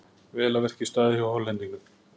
Vel að verki staðið hjá Hollendingnum.